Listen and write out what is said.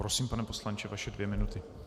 Prosím, pane poslanče, vaše dvě minuty.